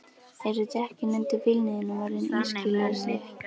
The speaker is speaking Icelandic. Eru dekkin undir bílnum þínum orðin ískyggilega slétt?